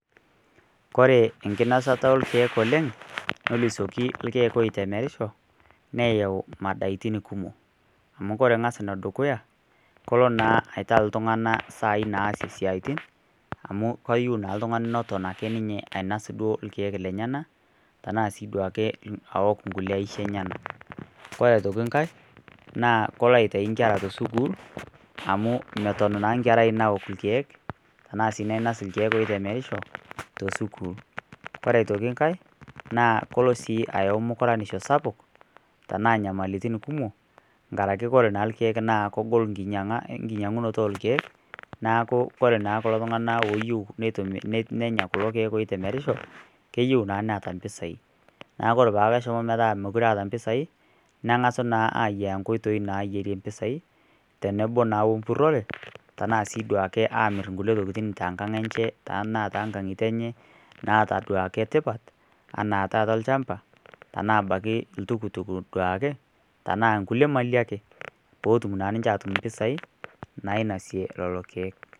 Kore enkinosata orkiek oleng nesioki irkiek otemerisho neyau medaitin kumok amu kore enedukuya kore naa iltung'anak saai naasie isiatin amu kayieu naa iltung'anak neton ake ninye ainos duo irkiek lenyenak naasiduake aok inkulie aishi enyanak kore aitoki nkae naa kolo aitayu inkera te school amu meton naa enkerai naok irkiek naeasi irkiek oitemerisho te school ore aitoki nkae ore sii ayau mukuraisho sapuk naa inyamalaritin kumom nkaraki ore naa irkiek oitemerisho naa kegol enkinyiang'unoto oorkek neeku kore naa kulo tung'anak ooyieu nenya kulo kiek oitemerisho meyieu naa neeta impisai neeku ore ake peeshomo metaa meeta impisai neng'asa naa aayiaya inkoitoi naayiarie impisai tenebo naa we mburore ashu siiduake aamir inkulie tokitin tenkang enje enaa toonkang'itie enye duake etipat enaa taata olchamba enaabake iltukutuki duake tenaa nkulie mali ake pootum naa ninche aatum impisai nainosie lelo kiek.